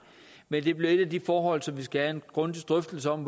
men det bliver et af de forhold som vi skal have en grundig drøftelse om